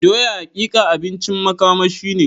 Doya hakika abincin makamashi ne.